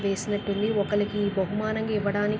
వేసినట్టుంది.ఒకరికి బహుమానంగా ఇవ్వడానికి--